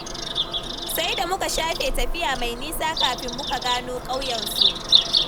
Sai da muka shafe tafiya mai nisa kafin muka gano ƙauyensu.